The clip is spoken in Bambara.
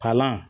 Kalan